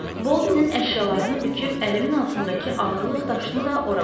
Boldenin əşyalarını büküb əlimin altındakı ağırlıq daşını da ora qoydum.